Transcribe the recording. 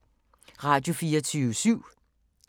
Radio24syv